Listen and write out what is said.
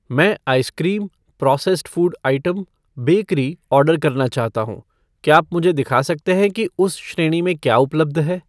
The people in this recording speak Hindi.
मैं ice cream ,processed food item ,bakery order करना चाहता हूँ , क्या आप मुझे दिखा सकते हैं कि उस श्रेणी में क्या उपलब्ध है?